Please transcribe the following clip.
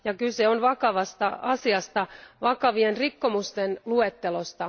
Kyse on vakavasta asiasta, vakavien rikkomusten luettelosta.